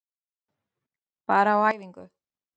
Bara á æfingu.